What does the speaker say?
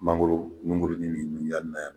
Mangoro nuguruni ni nujanni na yan nɔ